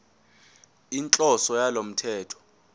inhloso yalo mthetho